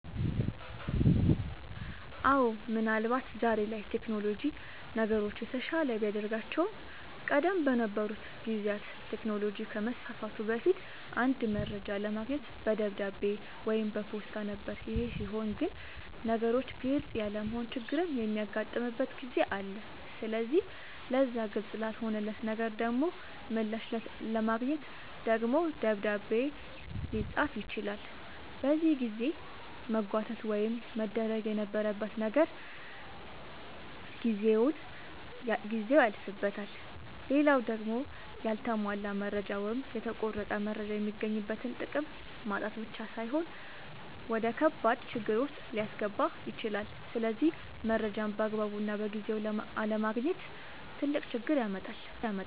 አወ ምን አልባት ዛሬ ላይ ቴክኖሎጅ ነገሮችን የተሻለ ቢያደርጋቸውም ቀደም በነበሩ ጊዜያት ቴክኖሎጅ ከመስፋፋቱ በፊት አንድ መረጃ ለማግኘት በደብዳቤ ወይም በፖስታ ነበር ይሄ ሲሆን ግን ነገሮች ግልፅ ያለመሆን ችግርም የሚያጋጥምበት ጊዜ አለ ስለዚህ ለዛ ግልፅ ላልሆነለት ነገር ደሞ ምላሽ ለማግኘት ደግሞ ደብዳቤ ልፅፍ ይችላል በዚህ የጊዜ መጓተት ውስጥ መደረግ የነበረበት ነገር ጊዜው ያልፍበታል። ሌላው ደሞ ያልተሟላ መረጃ ወይም የተቆረጠ መረጃ የሚገኝበትን ጥቅም ማጣት ብቻ ሳይሆን ወደከባድ ችግር ዉስጥ ሊያስገባ ይችላል ስለዚህ መረጃን ባግባቡና በጊዜው አለማግኘት ትልቅ ችግር ያመጣል